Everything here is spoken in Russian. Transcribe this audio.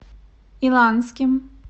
иланским